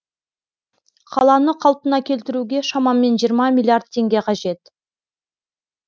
қаланы қалпына келтіруге шамамен жиырма миллиард теңге қажет